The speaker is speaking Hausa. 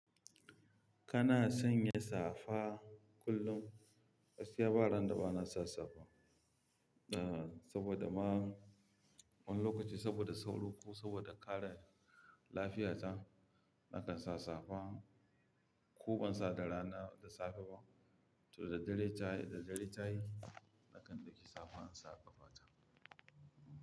Kana sanya safa kullum? Gaskiya bara na dabana sa safa, eh saboda ma wani lokaci saboda sauro ko saboda kare lafiyata nakan sa safa. Ko ban sa da rana da safe ba, to da dare tayi, da dare tayi nakan dauki safa in sa ƙafata.